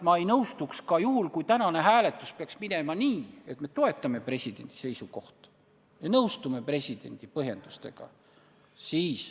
Ma ei nõustuks ka juhul, kui tänane hääletus peaks minema nii, et me toetame presidendi seisukohti ja nõustume presidendi põhjendustega.